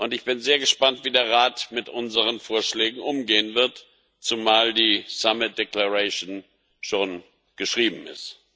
Ich bin sehr gespannt, wie der Rat mit unseren Vorschlägen umgehen wird, zumal die Erklärung des Gipfels schon geschrieben ist.